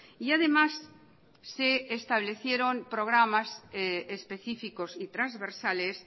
y además se establecieron programas específicos y transversales